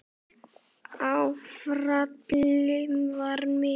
Áfallið var mikið.